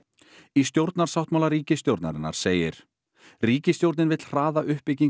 í stjórnarsáttmála ríkisstjórnarinnar segir ríkisstjórnin vill hraða uppbyggingu